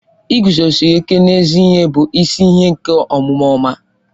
Ịguzosi ịke n'ezi ihe bụ isi ihe nke omume ọma